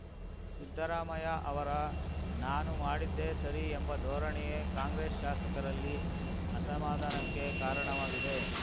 ಸಿದ್ದರಾಮಯ್ಯ ಅವರ ನಾನು ಮಾಡಿದ್ದೇ ಸರಿ ಎಂಬ ಧೋರಣೆಯೇ ಕಾಂಗ್ರೆಸ್‌ ಶಾಸಕರಲ್ಲಿ ಅಸಮಾಧಾನಕ್ಕೆ ಕಾರಣವಾಗಿದೆ